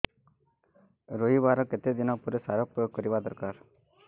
ରୋଈବା ର କେତେ ଦିନ ପରେ ସାର ପ୍ରୋୟାଗ କରିବା ଦରକାର